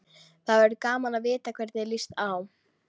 Það verður gaman að vita hvernig þér líst á.